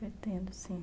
Pretendo, sim.